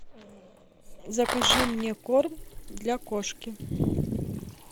закажи мне корм для кошки